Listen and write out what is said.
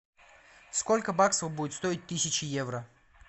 сколько баксов будет стоить тысяча евро